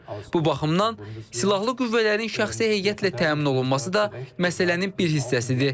Bu baxımdan, silahlı qüvvələrin şəxsi heyətlə təmin olunması da məsələnin bir hissəsidir.